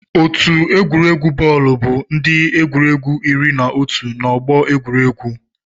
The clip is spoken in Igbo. Otu egwuregwu bọọlụ bụ ndị egwuregwu iri na otu nọ n'ọgbọ egwuregwu.